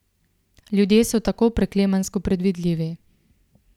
Ljudje so tako preklemansko predvidljivi.